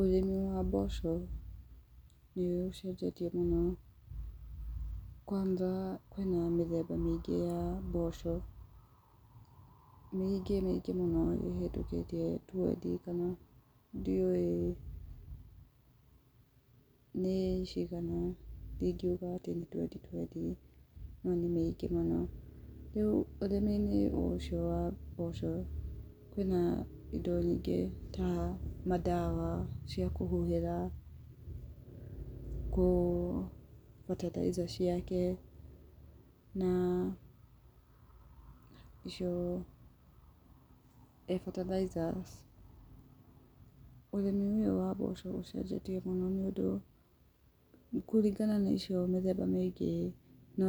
Ũrĩmi wa mboco, nĩ ũcenjetie mũno. Kwanza hena mĩthemba mĩingĩ ya mboco, mĩingĩ mĩingĩ mũno ĩhĩtũkĩtie twendi, kana ndiũĩ nĩ cigana, ndĩngiuga atĩ nĩ twendi twendi, no nĩ mĩingĩ mũno. Rĩu ũrĩmi-inĩ ũcio wa mboco, kwĩna indo yingĩ ta, mandawa cia kũhuhĩra, kũhe bataraitha ciake, na icio bataraitha, ũrĩmi-inĩ ũyũ wa mboco ũcenjetie mũno, nĩũndũ kũringana na icio mĩthemba mĩingĩ, no